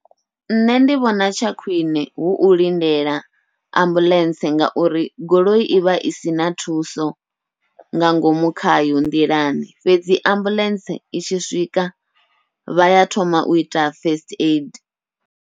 Nṋe ndi vhona tsha khwiṋe hu u lindela ambuḽentse, ngauri goloi ivha i sina thuso nga ngomu khayo nḓilani fhedzi ambuḽentse i tshi swika vha ya thoma uita first aid.